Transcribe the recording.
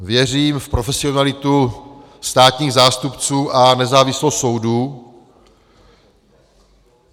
Věřím v profesionalitu státních zástupců a nezávislost soudu.